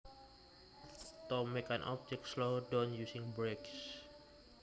To make an object slow down using brakes